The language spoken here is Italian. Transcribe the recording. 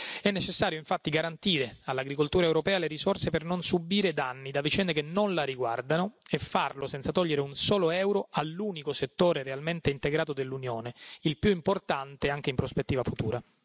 È necessario infatti garantire all'agricoltura europea le risorse per non subire danni da vicende che non la riguardano e farlo senza togliere un solo euro all'unico settore realmente integrato dell'Unione, il più importante anche in prospettiva futura.